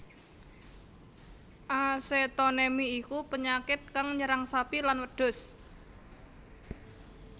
Acetonemi iku penyakit kang nyerang sapi lan wedhus